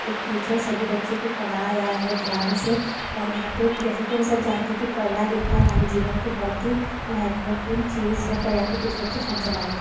एक टीचर सभी बच्चों को पढ़ रहा है ध्यान से और यहां पर जैसे कि हम सब जानते कि पढ़ना लिखना हमारे जीवन की बहुत ही महत्वपूर्ण चीज है पर यहां पर कुछ बच्चे फोन चला रहे हैं।